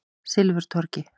Silfurtorgi